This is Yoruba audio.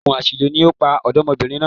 Ògùn àṣìlò ni ó pa ọ̀dọ́mọbìnrin náà